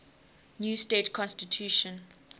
new state constitution